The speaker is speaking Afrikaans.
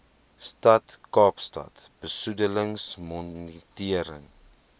stad kaapstad besoedelingsmonitering